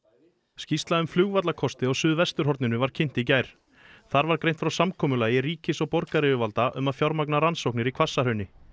skýrsla um flugvallakosti á suðvesturhorninu var kynnt í gær þá var greint frá samkomulag ríkis og borgaryfirvalda um að fjármagna rannsóknir í Hvassahrauni